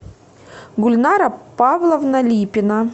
гульнара павловна липина